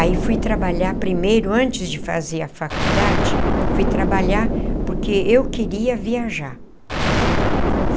Aí fui trabalhar primeiro, antes de fazer a faculdade, fui trabalhar porque eu queria viajar.